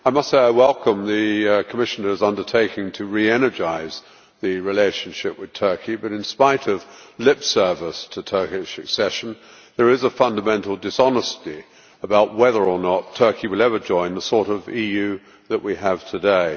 I must say I welcome the Commissioner's undertaking to re energise the relationship with Turkey but, in spite of lip service to Turkish accession, there is a fundamental dishonesty about whether or not Turkey will ever join the sort of EU that we have today.